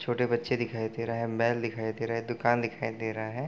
छोटे बच्चे दिखाई दे रहा है | महल दिखाई दे रहा है | दुकान दिखाई दे रहा है |